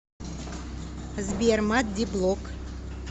сбер маддиблог